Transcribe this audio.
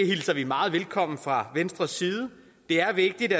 hilser vi meget velkomment fra venstres side det er vigtigt